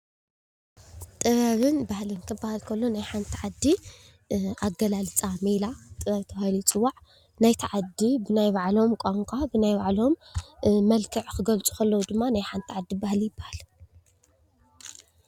ጥበብን ባህልን ክበሃል ከሎ ናይ ሓንቲ ዓዲ ኣገላልፃ ሜላ ጥበብ ተባሂሉ ይፅዋዕ:: ናይቲ ዓዲ ብናይ ባዕሎም ቋንቋ ብናይ ባዕሎም መልክዕ ክገልፁ ከለው ድማ ናይ ሓንቲ ዓዲ ባህሊ ይበሃል።